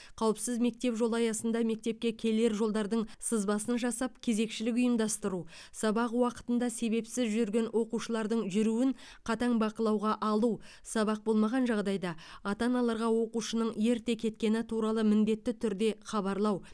қауіпсіз мектеп жолы аясында мектепке келер жолдарының сызбасын жасап кезекшілік ұйымдастыру сабақ уақытында себепсіз жүрген оқушылардың жүруін қатаң бақылауға алу сабақ болмаған жағдайда ата аналарға оқушының ерте кеткені туралы міндетті түрде хабарлау